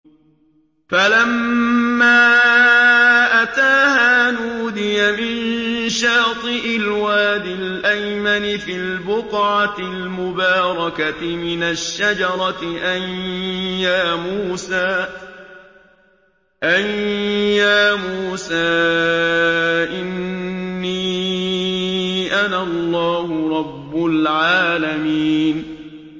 فَلَمَّا أَتَاهَا نُودِيَ مِن شَاطِئِ الْوَادِ الْأَيْمَنِ فِي الْبُقْعَةِ الْمُبَارَكَةِ مِنَ الشَّجَرَةِ أَن يَا مُوسَىٰ إِنِّي أَنَا اللَّهُ رَبُّ الْعَالَمِينَ